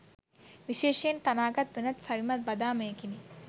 විශේෂයෙන් තනාගත් වෙනත් සවිමත් බදාමයකිනි.